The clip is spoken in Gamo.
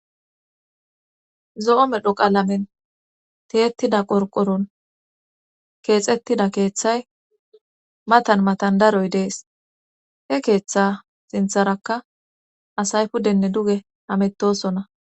zo7o medho qaalamen teyettida qorqoron keexettida keeththay matan matan daroy dees he keeththa sintharakka asay puddenne duge hamettosona